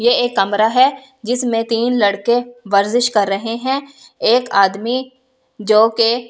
ये एक कमरा है जिसमें तीन लड़के कर रहे हैं एक आदमी जोकि--